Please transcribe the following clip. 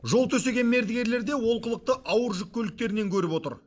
жол төсеген мердігерлер де олқылықты ауыр жүк көліктерінен көріп отыр